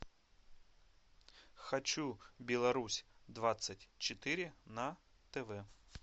хочу беларусь двадцать четыре на тв